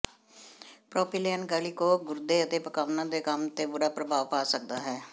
propylene glycol ਗੁਰਦੇ ਅਤੇ ਪਕਾਉਣਾ ਦੇ ਕੰਮ ਤੇ ਬੁਰਾ ਪ੍ਰਭਾਵ ਪਾ ਸਕਦਾ ਹੈ